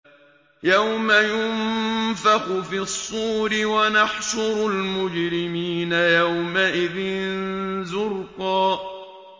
يَوْمَ يُنفَخُ فِي الصُّورِ ۚ وَنَحْشُرُ الْمُجْرِمِينَ يَوْمَئِذٍ زُرْقًا